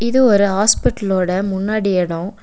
இது ஒரு ஹாஸ்பிடல் ஓட முன்னாடி இடோ.